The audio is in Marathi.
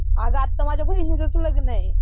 अगं आता माझ्या बहिणीचंच लग्न आहे.